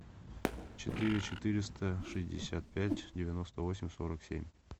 четыре четыреста шестьдесят пять девяносто восемь сорок семь